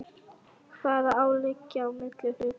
Hvað á að liggja á milli hluta?